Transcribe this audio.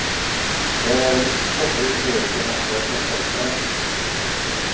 Det är ett så fritt yrke, man sköter sig själv.